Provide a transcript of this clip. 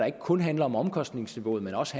ikke kun handler om omkostningsniveauet men også